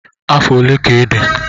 Afọ ole ka ịdị?